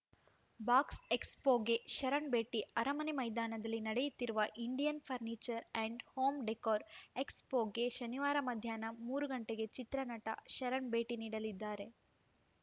ಬಾಕ್ಸ್‌ಎಕ್ಸ್‌ಪೋಗೆ ಶರಣ್‌ ಭೇಟಿ ಅರಮನೆ ಮೈದಾನದಲ್ಲಿ ನಡೆಯುತ್ತಿರುವ Indian furniture and home decor ಎಕ್ಸ್‌ಪೋಗೆ ಶನಿವಾರ ಮಧ್ಯಾಹ್ನ ಮೂರು ಗಂಟೆಗೆ ಚಿತ್ರನಟ ಶರಣ್‌ ಭೇಟಿ ನೀಡಲಿದ್ದಾರೆ